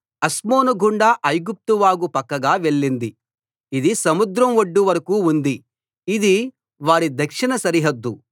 అస్మోను గుండా ఐగుప్తు వాగు పక్కగా వెళ్ళింది ఇది సముద్రం ఒడ్డు వరకూ ఉంది ఇది వారి దక్షిణ సరిహద్దు